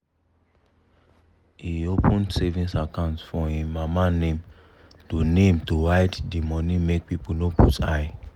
he open one savings account for him mama name to name to hide the money make people no put eye.